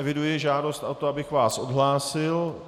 Eviduji žádost o to, abych vás odhlásil.